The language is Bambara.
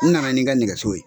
N nana n'i ka nɛgɛso ye.